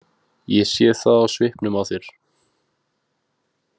Ég sé það á svipnum á þér.